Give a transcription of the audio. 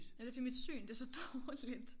Ej det fordi mit syn det så dårligt